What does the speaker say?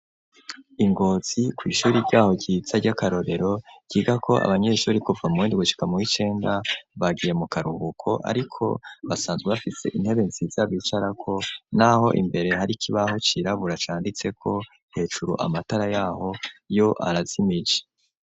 I ngozi ku ishuri ryaho ry'akarorero ryaho abanyeshuri kuva muw'indwi gushika muw'icenda bagiye mu karuhuko ariko basanzwe bafise intebe nziza bicarako n'aho imbere harikibaho cirabura canditseko hejuru amatara yaho yo arazimije.